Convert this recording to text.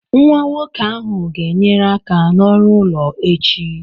Nwa nwoke ahụ ga-enyere aka n'ọrụ ụlọ echi.